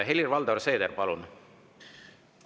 Helir-Valdor Seeder, palun!